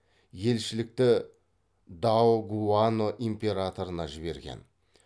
елшілікті даогуану императорына жіберген